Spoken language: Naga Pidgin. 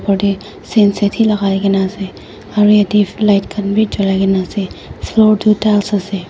opor dae sen set hi lagaikena ase aro yatheh light khan bhi julaikena ase floor tuh tiles ase.